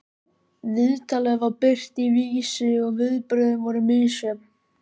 Viðtalið var birt í Vísi og viðbrögðin voru misjöfn.